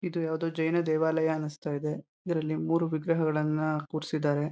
ಇದು ಯಾವ್ದೋ ಜೈನ ದೇವಾಲಯ ಅನ್ಸ್ತಾಯಿದೆ. ಇದ್ರಲ್ಲಿ ಮೂರು ವಿಗ್ರಹಗಳನ್ನ ಕೂರ್ಸಿದಾರೆ.